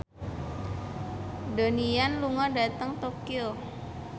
Donnie Yan lunga dhateng Tokyo